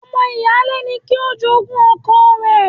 Ọmọ ìyáálé ni kí o jogún ọkọ rẹ.